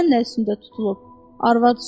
Bilirsən nə üstündə tutulub?